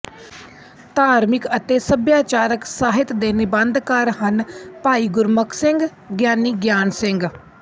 ਧਾਰਮਿਕ ਅਤੇ ਸੱਭਿਆਚਾਰਕ ਸਾਹਿਤ ਦੇ ਨਿੰਬਧਕਾਰ ਹਨ ਭਾਈ ਗੁਰਮੁਖ ਸਿੰਘਗਿਆਨੀ ਗਿਆਨ ਸਿੰਘ